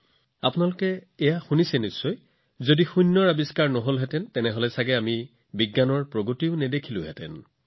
আপোনালোকে প্ৰায়েই এইটোও শুনিব যে যদি শূন্য আৱিষ্কাৰ কৰা নহলহেঁতেন তেন্তে আমি হয়তো পৃথিৱীত এনে বৈজ্ঞানিক প্ৰগতি দেখা নাপালোঁহেঁতেন